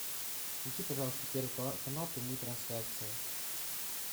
включи пожалуйста первый канал прямую трансляцию